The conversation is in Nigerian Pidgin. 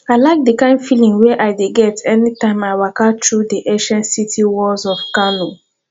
i like d kind feeling wey i dey get anytime i waka through di ancient city walls of kano